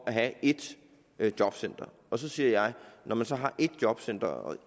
at have ét jobcenter så siger jeg når man så har ét jobcenter og